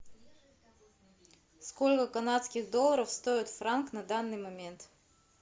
сколько канадских долларов стоит франк на данный момент